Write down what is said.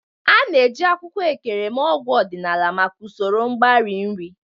A na-eji akwụkwọ Ekere eme ọgwụ ọdịnala maka usoro mgbari nri.